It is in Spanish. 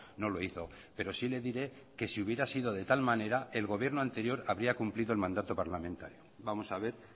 no lo hizo pero sí le diré que si hubiera sido de tal manera el gobierno anterior habría cumplido el mandato parlamentario vamos a ver